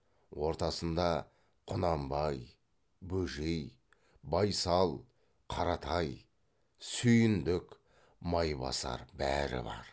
ортасында құнанбай бөжей байсал қаратай сүйіндік майбасар бәрі бар